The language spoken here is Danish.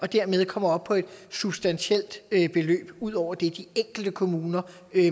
dermed kommer op på et substantielt beløb ud over det de enkelte kommuner